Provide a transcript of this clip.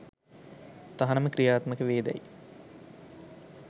තහනම ක්‍රියාත්මක වේදැයි